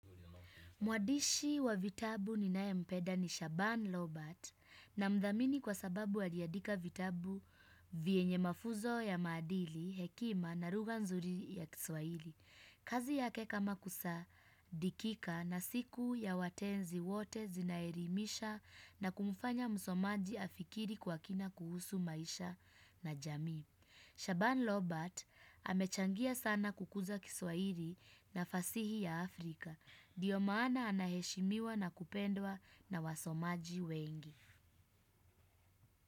Mwadishi wa vitabu ni naye mpeda ni Shaban Robert namdhamini kwa sababu aliandika vitabu vyenye mafuzo ya maadili, hekima na lugha nzuri ya kiswahili. Kazi yake kama kusa dikika na siku ya watenzi wote zinaelimisha na kumfanya msomaji afikiri kwa kina kuhusu maisha na jamii. Shaban Robert amechangia sana kukuza kiswahili na fasihi ya Afrika. Ndio maana anaheshimiwa na kupendwa na wasomaji wengi.